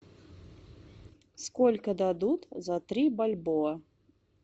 сколько дадут за три бальбоа